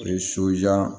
O ye